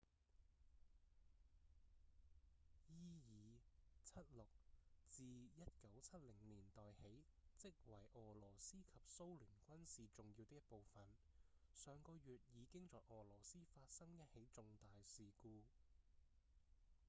伊爾 -76 自1970年代起即為俄羅斯及蘇聯軍事重要的一部分上個月已經在俄羅斯發生一起重大事故